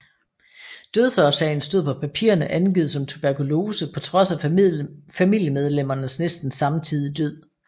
Dødsårsagen stod på papirerne angivet som tuberkulose på trods af familiemedlemmernes næsten samtidige død